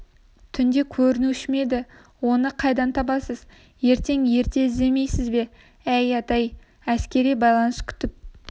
түнде көрінуші ме еді оны қайдан табасыз ертең ерте іздемейсіз бе әй ата-ай әскери байланыс күтіп